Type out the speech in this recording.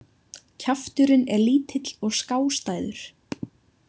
Kjafturinn er lítill og skástæður.